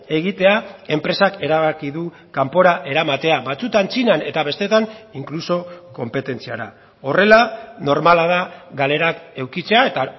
egitea enpresak erabaki du kanpora eramatea batzuetan txinan eta besteetan inkluso konpetentziara horrela normala da galerak edukitzea eta